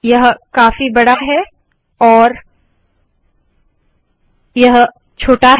यह काफी बड़ा है और यह छोटा